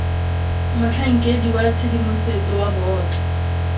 motlhankedi wa tshedimosetso wa boto